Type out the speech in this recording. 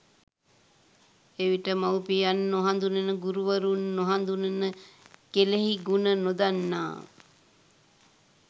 එවිට මව්පියන් නොහඳුනන ගුරුවරුන් නොහඳුනන කෙළෙහිගුණ නොදන්නා